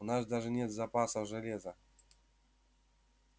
у нас даже нет запасов железа